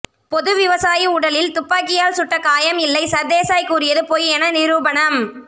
பொது விவசாயி உடலில் துப்பாக்கியால் சுட்ட காயம் இல்லை சர்தேசாய் கூறியது பொய் என நிரூபணம்